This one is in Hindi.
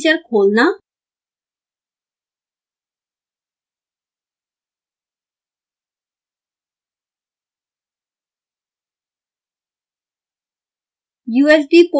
device manager खोलना